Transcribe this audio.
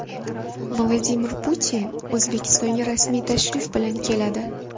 Vladimir Putin O‘zbekistonga rasmiy tashrif bilan keladi.